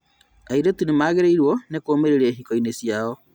Airĩtu nĩmagĩrĩirwo nĩ kũmĩrĩria ihiko ciao